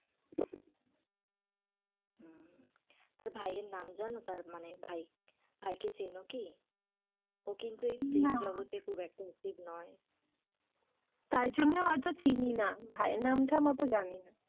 তার ভাই এর নাম জানো, তার মানে তার ভাই ভাই কে চেনো কি? ও কিন্তু এই film জগতে খুব একটা achieve নয় তাই জন্য হয় তো চিনি না ভাই এর নাম থাম অটো জানি না,